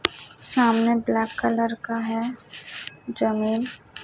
सामने black colour का है जमीन--